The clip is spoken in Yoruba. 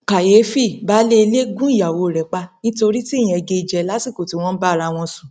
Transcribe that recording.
kàyééfì baálé ilé gún ìyàwó rẹ pa nítorí tí ìyẹn gé e jẹ lásìkò tí wọn ń bára wọn sùn